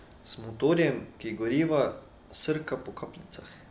Z motorjem, ki gorivo srka po kapljicah.